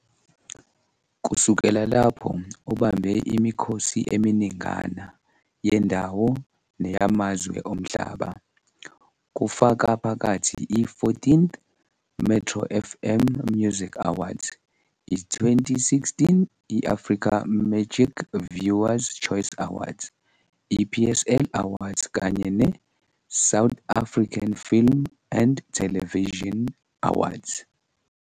Kusukela lapho ubambe imikhosi eminingana yendawo neyamazwe omhlaba, kufaka phakathi i-14th Metro FM Music Awards, i-2016 I-Africa Magic Viewers Choice Awards, i-PSL Awards kanye ne-South African Film and Television Awards.